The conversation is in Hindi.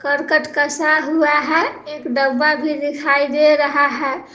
करकट कसा हुआ है एक डब्बा भी दिखाई दे रहा है।